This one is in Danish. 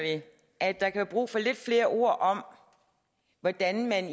at der kan være brug for lidt flere ord om hvordan man